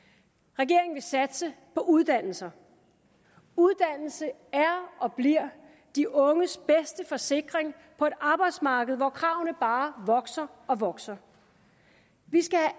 regeringen vil satse på uddannelser uddannelse er og bliver de unges bedste forsikring på et arbejdsmarked hvor kravene bare vokser og vokser vi skal